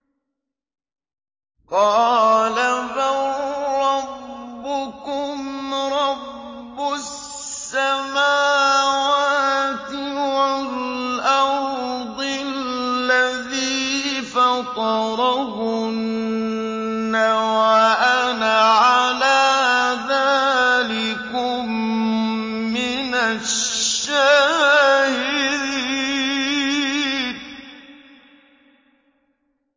قَالَ بَل رَّبُّكُمْ رَبُّ السَّمَاوَاتِ وَالْأَرْضِ الَّذِي فَطَرَهُنَّ وَأَنَا عَلَىٰ ذَٰلِكُم مِّنَ الشَّاهِدِينَ